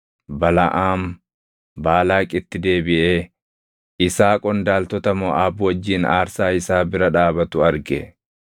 Balaʼaam Baalaaqitti deebiʼee isaa qondaaltota Moʼaab wajjin aarsaa isaa bira dhaabatu arge.